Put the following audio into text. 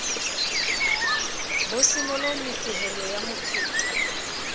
bo senolo mefehelo ya mophethwa